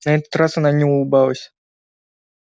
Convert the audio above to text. на этот раз она не улыбалась